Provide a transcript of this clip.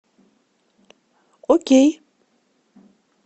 окей